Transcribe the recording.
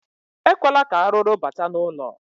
Ekwela ka arụrụ bata n'ụlọ.